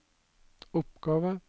oppgave